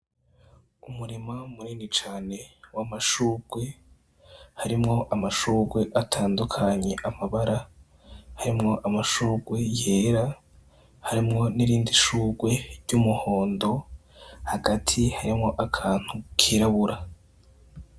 Umurima murini cane wo amashurwe harimwo amashurwe atandukanyi amabara harimwo amashurwe yera harimwo n'irindi ishurwe ry'umuhondo hagati harimwo akantu kirabura.